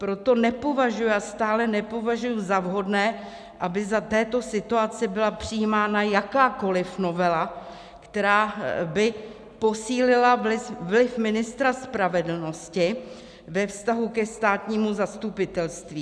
Proto nepovažuji a stále nepovažuji za vhodné, aby za této situace byla přijímána jakákoliv novela, která by posílila vliv ministra spravedlnosti ve vztahu ke státnímu zastupitelství.